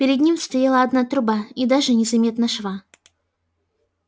перед ним стояла одна труба и даже не заметно шва